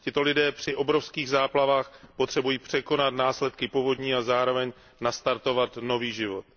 Tito lidé při obrovských záplavách potřebují překonat následky povodní a zároveň nastartovat nový život.